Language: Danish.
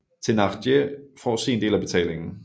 Thénardier får sin del af betalingen